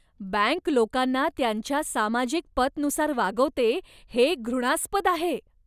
Bank लोकांना त्यांच्या सामाजिक पतनुसार वागवते हे घृणास्पद आहे.